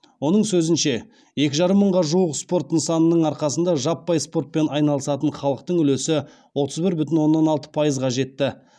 оның сөзінше екі жарым мыңға жуық спорт нысанының арқасында жаппай спортпен айналысатын халықтың үлесі отыз бір бүтін оннан алты пайызға жетті